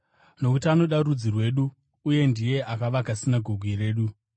nokuti anoda rudzi rwedu uye ndiye akavaka sinagoge redu.”